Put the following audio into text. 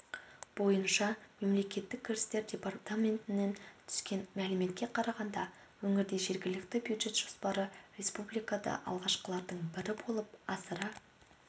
бойынша мемлекеттік кірістер департаментінен түскен мәліметке қарағанда өңірде жергілікті бюджет жоспары республикада алғашқылардың бірі болып асыра